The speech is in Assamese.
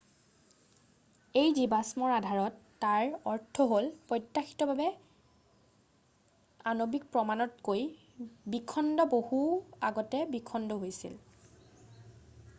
"""এই জীৱাষ্মৰ আধাৰত তাৰ অৰ্থ হ'ল প্ৰত্যাশিত আণৱিক প্ৰমাণতকৈ বিখণ্ড বহু আগতে বিখণ্ড হৈছিল।""